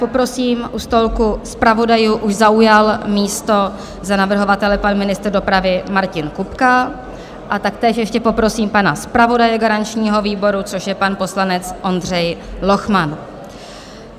Poprosím, u stolku zpravodajů už zaujal místo za navrhovatele pan ministr dopravy Martin Kupka, a taktéž ještě poprosím pana zpravodaje garančního výboru, což je pan poslanec Ondřej Lochman.